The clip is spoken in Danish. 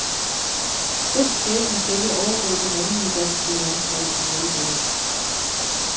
Den skæbne skal ikke overgå det mandlige danske landshold i volleyball.